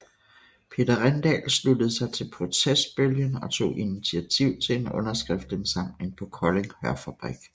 Peter Rindal sluttede sig til protestbølgen og tog initiativ til en underskriftindsamling på Kolding Hørfabrik